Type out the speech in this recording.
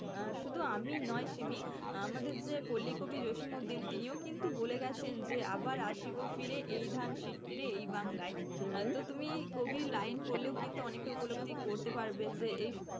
আহ শুধু আমি নয় শিমি, আমাদের যে পল্লী কবি জসীমউদ্দীন তিনিও কিন্তু বলে গেছেন যে, আবার আসিব ফিরে এই ধান সিঁড়িটির তীরে এই বাংলায়। তুমি কবির line পড়লেও কিন্তু অনেকটা উপলব্ধি করতে পারবে যে এই,